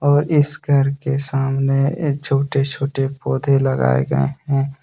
और इस घर के सामने छोटे छोटे पौधे लगाए गए है।